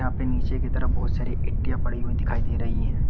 यहां पे नीचे की तरफ बहोत सारी इट्टियां पड़ी हुई दिखाई दे रही है।